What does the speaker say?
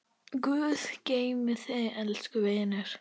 Guð geymi þig, elsku vinur.